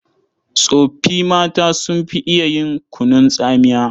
Tsoffi mata sun fi iya yin kunun tsamiya.